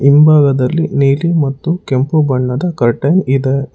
ಹಿಂಭಾಗದಲ್ಲಿ ನೀಲಿ ಮತ್ತು ಕೆಂಪು ಬಣ್ಣದ ಕರ್ಟನ್ ಇದೆ.